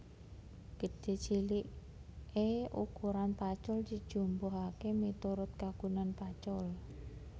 Gedhé ciliké ukuran pacul dijumbuhaké miturut kagunan pacul